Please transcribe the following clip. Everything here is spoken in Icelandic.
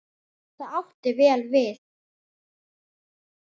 Það átti vel við.